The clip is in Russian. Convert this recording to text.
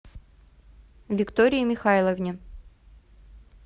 виктории михайловне